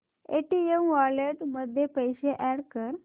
Paytm wallet मध्ये पैसे add कर